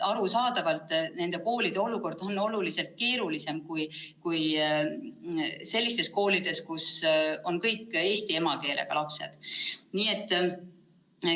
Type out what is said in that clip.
Arusaadavalt on nende koolide olukord oluliselt keerulisem kui sellistel koolidel, kus on kõik eesti emakeelega lapsed.